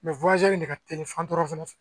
de ka teli fan dɔ fɛnɛ fɛ